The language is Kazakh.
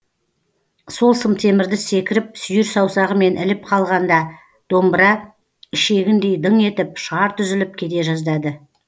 сол сымтемірді секіріп сүйір саусағымен іліп қалғанда домбыра ішегіндей дың етіп шарт үзіліп кете жаздады